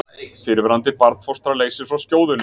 Fyrrverandi barnfóstra leysir frá skjóðunni